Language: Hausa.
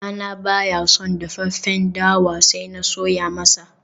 dana baya son dafaffen dawa sai na soya masa